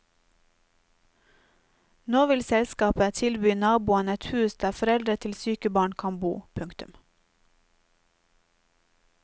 Nå vil selskapet tilby naboen et hus der foreldre til syke barn kan bo. punktum